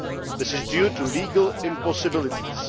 This is due to legal impossibilities.